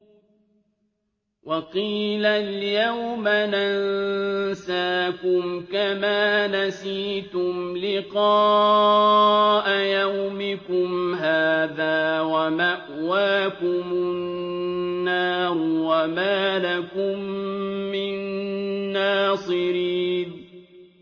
وَقِيلَ الْيَوْمَ نَنسَاكُمْ كَمَا نَسِيتُمْ لِقَاءَ يَوْمِكُمْ هَٰذَا وَمَأْوَاكُمُ النَّارُ وَمَا لَكُم مِّن نَّاصِرِينَ